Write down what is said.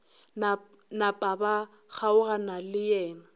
napa ba kgaogana le yena